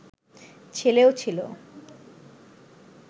ছেলেও ছিল